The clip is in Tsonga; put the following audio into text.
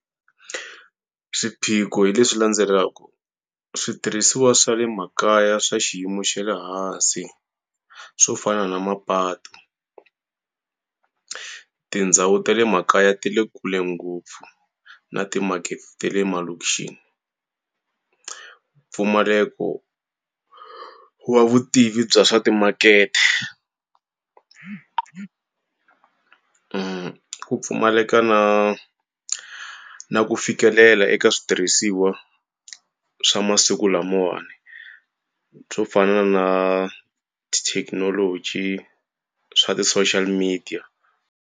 Swiphiqo hi leswi landzelaka. Switirhisiwa swa le makaya swa xiyimo xa le hansi, swo fana na mapatu. Tindhawu ta le makaya ti le kule ngopfu na timakete ta le emalokixini. Mpfumaleko wo wa vutivi bya swa timakete. Ku pfumaleka na na ku fikelela eka switirhisiwa swa masiku lamawani, swo fana na tithekinoloji swa ti--social media.